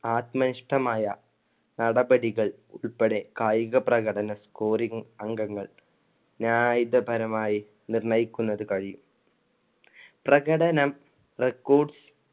ആത്മനിഷ്ഠമായ നടപടികൾ ഉള്‍പ്പടെ കായിക പ്രകട scoring അംഗങ്ങൾ ന്യായീതപരമായി നിർണയിക്കുന്നത് കഴിയും. പ്രകടനം records